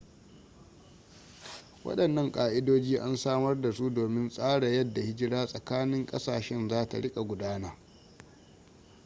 wadannan ka'idoji an samar da su domin tsara yadda hijira tsakanin kasashen za ta rika gudana